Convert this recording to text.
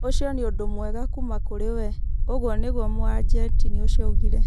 Ũcio nĩ ũndũ mwega kuuma kũrĩ we", ũguo nĩguo Mũargentini ũcio oigire.